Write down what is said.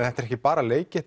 þetta er ekki bara leikið